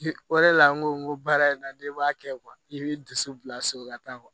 O de la n ko n ko baara in na n'i m'a kɛ i bɛ dusu bila so ka taa